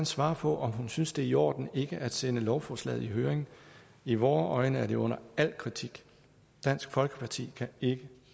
svare på om hun synes det er i orden ikke at sende lovforslaget i høring i vore øjne er det under al kritik dansk folkeparti kan ikke